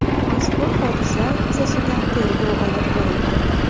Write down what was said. Mazkur hodisa yuzasidan tergov olib borilmoqda.